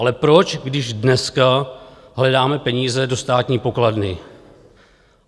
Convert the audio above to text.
Ale proč, když dneska hledáme peníze do státní pokladny?